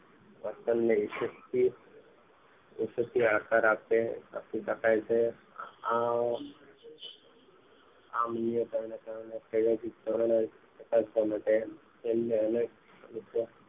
વર્તન વિશેષ તી આકાર આપી આપી શકાય છે આ આ અન્ય કારણે શિક્ષણ તથા સમસ્યા માટે તેમને અનેક